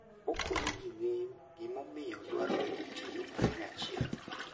Okonyo ji ng'eyo gimomiyo dwarore tiyo kanyachiel.